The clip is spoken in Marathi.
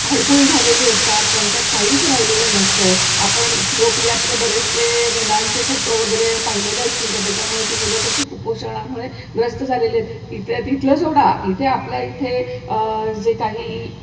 हडकुळी झालेली असतात. त्यांच्यात काहीच राहिलेलं नसतं. आपण इथिओपियातले बरेचसे मुलांचे फोटो वगैरे पाहिलेले असतील, तर त्याच्यामुळे ती मुलं कशी कुपोषणामुळे ग्रस्त झालेले तिथलं तिथलं सोडा. इथे आपल्या इथे अह जे काही,